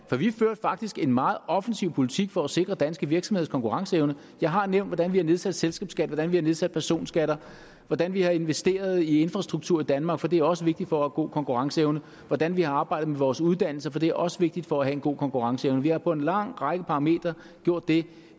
vi førte faktisk en meget offensiv politik for at sikre danske virksomheders konkurrenceevne jeg har nævnt hvordan vi har nedsat selskabsskatten hvordan vi har nedsat personskatterne hvordan vi har investeret i infrastrukturen i danmark for det er også vigtigt for en god konkurrenceevne og hvordan vi har arbejdet med vores uddannelse for det er også vigtigt for at have en god konkurrenceevne vi har på en lang række parametre gjort det